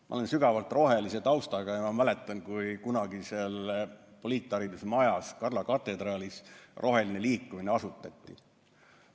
Ma olen sügavalt rohelise taustaga ja ma mäletan, kui kunagises poliitharidusmajas Karla katedraalis roheline liikumine asutati.